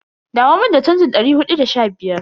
Dawo mun da chanjin dari hudu da sha biyar.